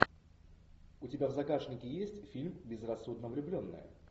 у тебя в загашнике есть фильм безрассудно влюбленная